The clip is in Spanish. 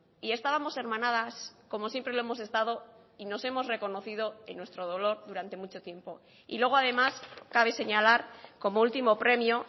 y estábamos hermanadas como siempre lo hemos estado y nos hemos reconocido en nuestro dolor durante mucho tiempo y luego además cabe señalar como último premio